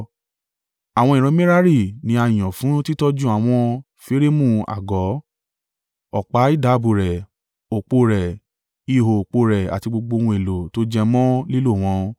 Àwọn ìran Merari ni a yàn fún títọ́jú àwọn férémù àgọ́, ọ̀pá ìdábùú rẹ̀, òpó rẹ̀, ihò òpó rẹ̀ àti gbogbo ohun èlò tó jẹ mọ́ lílò wọn.